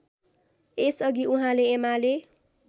यसअघि उहाँले एमाले